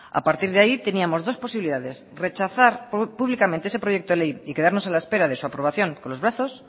a partir de ahí teníamos dos posibilidades rechazar públicamente ese proyecto de ley y quedarnos a la espera de su aprobación con los brazos